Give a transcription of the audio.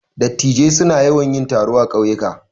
Dattijai suna yawan yin taro a ƙauyuka.